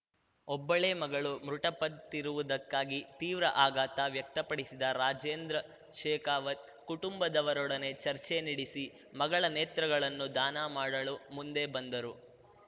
ಒಬ್ಬಳೇ ಮಗಳು ಮೃತಪಟ್ಟಿರುವುದಕ್ಕಾಗಿ ತೀವ್ರ ಆಘಾತ ವ್ಯಕ್ತಪಡಿಸಿದ ರಾಜೇಂದ್ರ ಶೇಕಾವತ್‌ ಕುಟುಂಬದವರೊಡನೆ ಚರ್ಚೆ ನೆಡೆಸಿ ಮಗಳ ನೇತ್ರಗಳನ್ನು ದಾನ ಮಾಡಲು ಮುಂದೆ ಬಂದರು